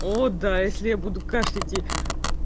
о да если я буду кашлять и